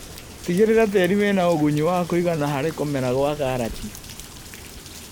Tigĩrĩra tĩri wĩna ũgunyu wa kũigana harĩ kũmera gwa karati.